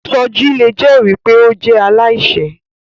Soji le jẹri pe o jẹ alaiṣẹ